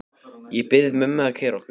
Ég bið mömmu að keyra okkur.